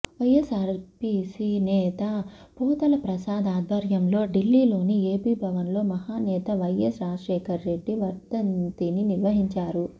వైఎస్సార్సీపీ నేత పోతల ప్రసాద్ ఆధ్వర్యంలో ఢిల్లీలోని ఏపీ భవన్లో మహానేత వైఎస్ రాజశేఖరరెడ్డి వర్ధంతిని నిర్వహించారు